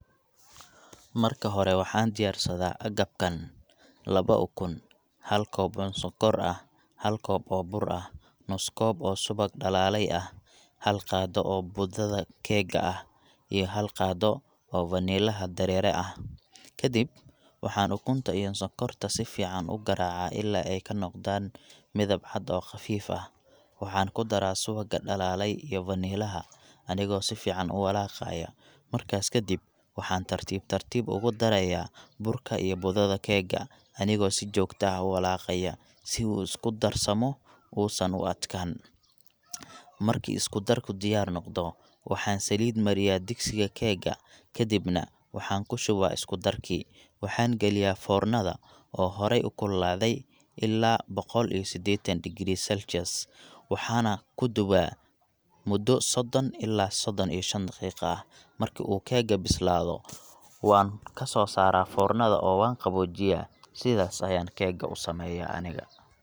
Marki hore waxaan diyaarsadaa agabkan laba ukun, hal koob oo sokor ah, hal koob oo bur ah, nus koob oo subag dalaale ah, hal qaado oo budada keeka ah, iyo hal qaado oo vanilaha dareere ah, kadib waxaan ukunta iyo sokorta si fican ugaraaca ilaa aay kanoqdaan midab cadiin oo qafiif ah, waxaan kudaraa subaga dalaale iyo vanilaha anigo sifican uwalaaqayo, markaas kadib waxaan tartib tartiib ugu daraaya burka iyo budada keeka anigoo sijogta uwalaaqaya si uu isku darsamo uusan u adkaanin, marki isku darka diyaar noqdo waxaan saliid mariyaa digsiga keeka kadibna waxaan kushubaa isku darkii, waxaan galiyaa foornada oo hore ukululaade ila boqol iyo sideetan degrees, waxaana kudubaa muda sodon ilaa sodon iyo shan daqiiqa, marki uu keeka bislaado waan kasoo saara foornada oo waan qaboojiya, sidaas ayaan keeka usameeya aniga.